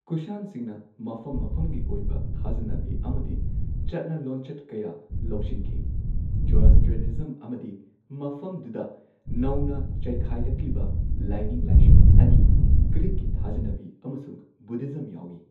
ꯀꯨꯁꯥꯟꯁꯤꯡꯅ ꯃꯐꯝ ꯃꯐꯝꯒꯤ ꯑꯣꯏꯕ ꯊꯥꯖꯅꯕꯤ ꯑꯃꯗꯤ ꯆꯠꯅ ꯂꯣꯟꯆꯠ ꯀꯌꯥ ꯂꯧꯁꯤꯟꯈꯤ꯫ ꯖꯣꯔꯣꯁꯇ꯭ꯔꯤꯌꯥꯅꯤꯖꯝ ꯑꯃꯗꯤ ꯃꯐꯝꯗꯨꯗ ꯅꯧꯅ ꯆꯩꯈꯥꯢꯔꯛꯂꯤꯕ ꯂꯥꯏꯅꯤꯡ ꯂꯥꯏꯁꯣꯟ ꯑꯅꯤ, ꯒ꯭ꯔꯤꯛꯀꯤ ꯊꯥꯖꯅꯕꯤ ꯑꯃꯁꯨꯡ ꯕꯨꯙꯤꯖꯝ ꯌꯥꯎꯏ꯫